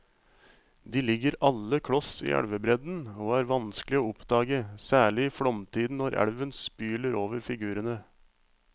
De ligger alle kloss i elvebredden og er vanskelige å oppdage, særlig i flomtiden når elven spyler over figurene.